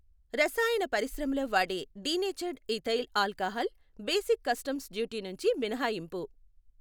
రసాయన పరిశ్రమలో వాడే denatured ethyl alcohol basic customs duty నుంచి మినహాయింపు.